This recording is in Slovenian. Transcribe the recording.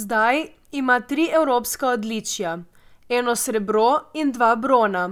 Zdaj ima tri evropska odličja, eno srebro in dva brona,